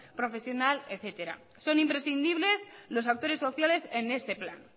profesional etcétera son imprescindibles los actores sociales en este plan